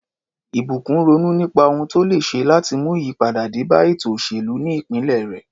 Ìbùkún ronú nípa ohun tó lè ṣe láti mú ìyípadà dé bá ètò òṣèlú ní ìpínlẹ̀ rẹ̀.